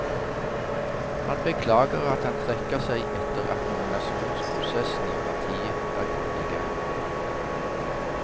Han beklager at han trekker seg etter at nominasjonsprosessen i partiet er godt i gang.